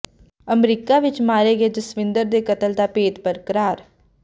America ਵਿੱਚ ਮਾਰੇ ਗਏ ਜਸਵਿੰਦਰ ਦੇ ਕਤਲ ਦਾ ਭੇਤ ਬਰਕਰਾਰ